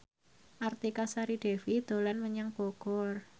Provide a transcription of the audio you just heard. Artika Sari Devi dolan menyang Bogor